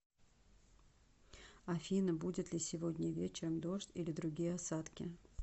афина будет ли сегодня вечером дождь или другие осадки